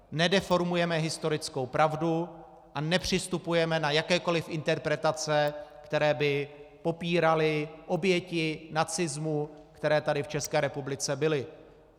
Nedeformujeme historickou pravdu a nepřistupujeme na jakékoli interpretace, které by popíraly oběti nacismu, které tady v České republice byly.